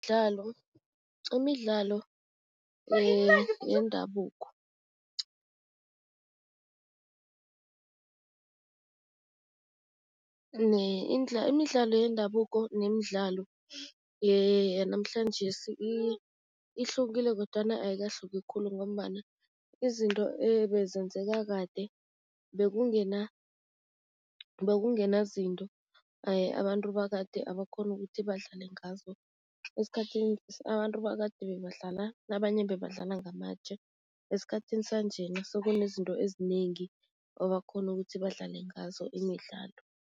zemidlalo yendabuko imidlalo yendabuko nemidlalo yanamhlanjesi ihlukile kodwana ayikahluki khulu ngombana izinto ebezenzeka kade, bekungena bekungena zinto abantu bakade abakghona ukuthi badlale ngazo. Esikhathini abantu bakade kunabanye ebebadlala ngamatje, esikhathini sanjena sekunezinto ezinengi ebakghona ukuthi badlale ngazo imidlalo.